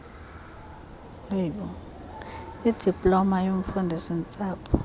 idiploma yobufundisi ntsapho